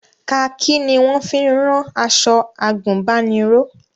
Kaakí ni wọ́n fi ń rán aṣọ àgùnbánirọ̀